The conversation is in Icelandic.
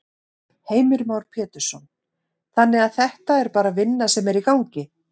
Heimir Már Pétursson: Þannig að þetta er bara vinna sem er í gangi?